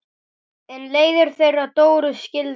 En leiðir þeirra Dóru skildu.